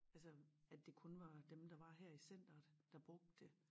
Altså at det kun var dem der var her i centeret der brugte det